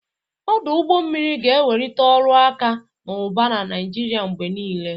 Ọdụ ụgbọ mmiri ga-ewelite ọrụ akụ na ụba na Naịjiria mgbe niile.